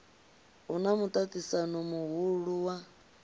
hu na muṱaṱisano muhulu wa